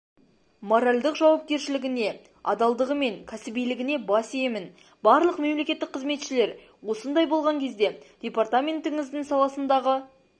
моральдық жауапкершілігіне адалдығы мен кәсібилігіне бас иемін барлық мемлекеттік қызметшілер осындай болған кезде департаментіңіздің саласындағы